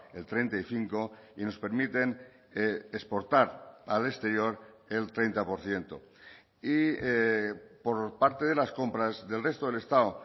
el treinta y cinco y nos permiten exportar al exterior el treinta por ciento y por parte de las compras del resto del estado